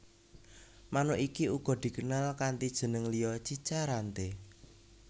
Manuk iki uga dikenal kanti jeneng liya cica rante